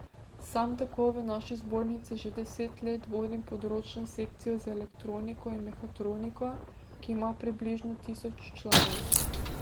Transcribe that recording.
Sam tako v naši zbornici že deset let vodim področno sekcijo za elektroniko in mehatroniko, ki ima približno tisoč članov.